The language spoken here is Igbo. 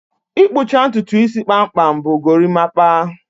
Ịkpụcha ntutu isi kpamkpam bụ gorimapa